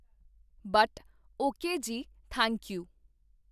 but, okay ਜੀ, thank you